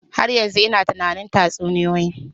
Har yanzu ina tunanin tatsuniyoyi.